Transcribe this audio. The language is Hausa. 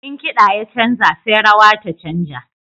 In kiɗa ya canja sai rawa ta canja.